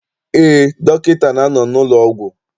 Eé, dọkịta na-anọ n'ụlọọgwụ.